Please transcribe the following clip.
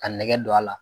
Ka nɛgɛ don a la